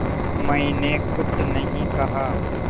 मैंने कुछ नहीं कहा